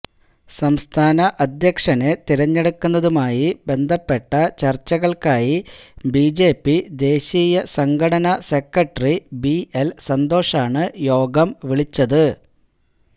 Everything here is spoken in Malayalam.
സംസ്ഥാന അധ്യക്ഷനെ തെരഞ്ഞെടുക്കുന്നതുമായി ബന്ധപ്പെട്ട ചര്ച്ചകള്ക്കായി ബിജെപി ദേശീയ സംഘടനാ സെക്രട്ടറി ബി എല് സന്തോഷാണ് യോഗം വിളിച്ചത്